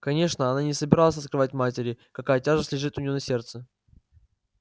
конечно она не собиралась открывать матери какая тяжесть лежит у неё на сердце